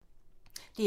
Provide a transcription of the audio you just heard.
DR2